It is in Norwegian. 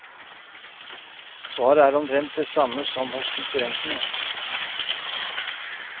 Svaret er omtrent det samme hos konkurrentene.